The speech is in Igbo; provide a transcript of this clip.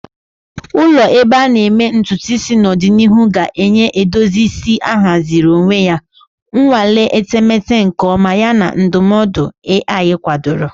Ụlọ ebe a na-eme ntutu isi n'ọdịnihu ga-enye edozi isi ahaziri onwe ya, nnwale etemeete nke ọma, yana ndụmọdụ AI kwadoro.